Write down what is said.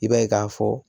I b'a ye k'a fɔ